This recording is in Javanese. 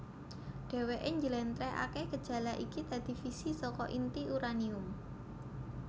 Dheweké njlentrehaké gejala iki dadi fisi saka inti uranium